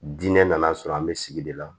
Diinɛ nana sɔrɔ an bɛ sigi de la